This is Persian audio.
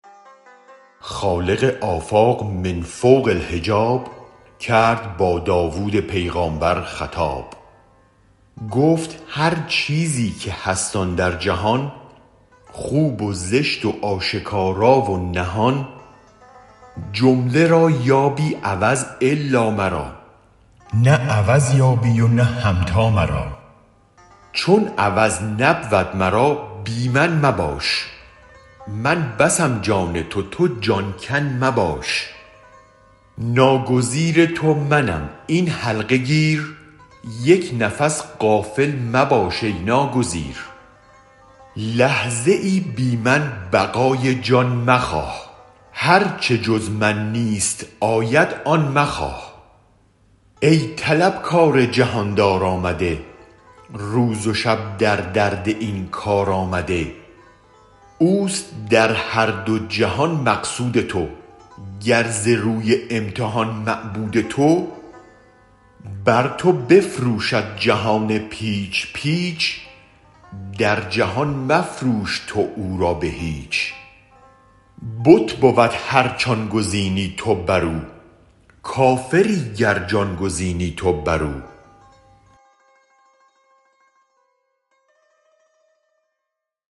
خالق آفاق من فوق الحجاب کرد با داود پیغامبر خطاب گفت هر چیزی که هست آن در جهان خوب و زشت و آشکارا و نهان جمله را یابی عوض الا مرا نه عوض یابی و نه همتا مرا چون عوض نبود مرا بی من مباش من بسم جان تو تو جان کن مباش ناگزیر تو منم این حلقه گیر یک نفس غافل مباش ای ناگزیر لحظه ای بی من بقای جان مخواه هرچ جز من نیست آید آن مخواه ای طلب کار جهاندار آمده روز و شب در درد این کار آمده اوست در هر دو جهان مقصود تو گر ز روی امتحان معبود تو بر تو بفروشد جهان پیچ پیچ در جهان مفروش تو او را به هیچ بت بود هرچ آن گزینی تو برو کافری گر جان گزینی تو برو